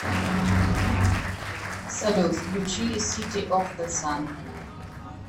салют включи сити оф зэ сан